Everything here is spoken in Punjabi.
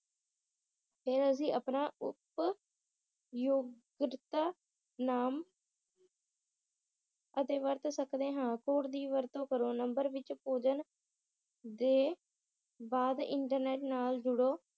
ਫੇਰ ਅੱਸੀ ਆਪਣਾ ਉਪ ਯੂਪਰਤਾ ਨਾਮ ਅਤੇ ਵਰਤ ਸਕਦੇ ਹਾਂ ਕੋਡ ਦੀ ਵਰਤੋਂ ਕਰੋ ਨੰਬਰ ਵਿਚ ਪੂਜਣ ਦੇ ਬਾਅਦ ਇਨਟਰਨੈਟ ਨਾਲ ਜੁੜੋ